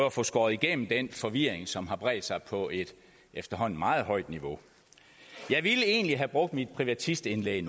at få skåret igennem den forvirring som har bredt sig på et efterhånden meget højt niveau jeg ville egentlig have brugt mit privatistindlæg